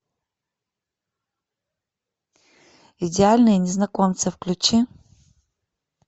идеальные незнакомцы включи